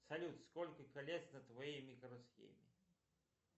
салют сколько колец на твоей микросхеме